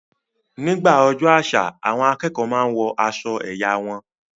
Nígbà ọjọ́ àṣà, àwọn akẹ́kọ̀ọ́ máa n wọ aṣọ ẹ̀yà wọn